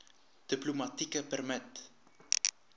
diplomatieke permit